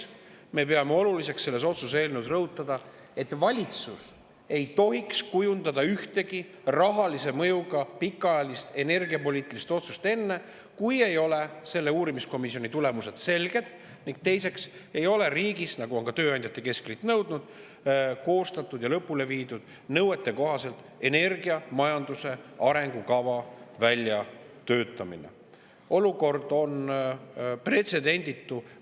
Me peame oluliseks selles otsuse eelnõus rõhutada, et valitsus ei tohiks kujundada ühtegi rahalise mõjuga pikaajalist energiapoliitilist otsust enne, esiteks, kui ei ole selged selle uurimiskomisjoni tulemused, ning teiseks, nagu on ka tööandjate keskliit nõudnud, ei ole riigis nõuetekohaselt lõpule viidud energiamajanduse arengukava väljatöötamine ja see koostatud.